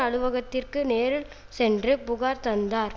அலுவலகத்திற்கு நேரில் சென்றுப்புகார் தந்தார்